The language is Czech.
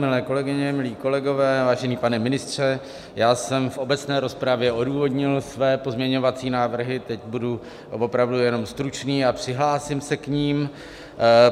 Milé kolegyně, milí kolegové, vážený pane ministře, já jsem v obecné rozpravě odůvodnil své pozměňovací návrhy, teď budu opravdu jenom stručný a přihlásím se k nim.